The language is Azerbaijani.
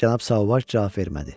Cənab Sauvaj cavab vermədi.